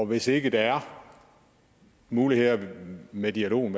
hvis ikke der er muligheder med dialogen